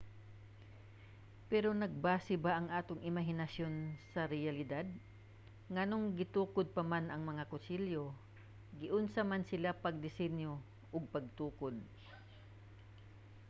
pero nagbase ba ang atong imahinasyon sa reyalidad? nganong gitukod pa man ang mga kastilyo? giunsa man sila pagdesinyo ug pagtukod?